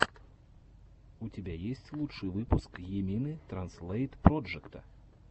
у тебя есть лучший выпуск йимины транзлэйт проджекта